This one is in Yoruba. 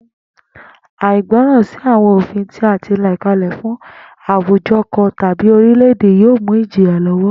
Àìgbó̩ràn sí àwo̩n òfin tí a ti là kalè̩ fún àwùjo̩ kan tàbí oríle̩-èdè yóò mú ìjìyà ló̩wó̩